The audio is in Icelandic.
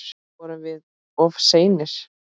Vorum við of seinir?